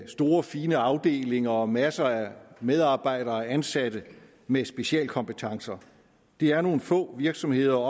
store fine afdelinger og masser af medarbejdere ansat med specialkompetencer det er nogle få virksomheder